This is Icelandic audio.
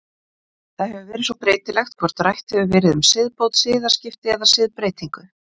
Það hefur svo verið breytilegt hvort rætt hefur verið um siðbót, siðaskipti eða siðbreytingu.